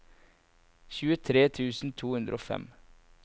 tjuetre tusen to hundre og fem